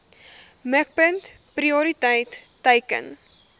mikpunt prioriteit teiken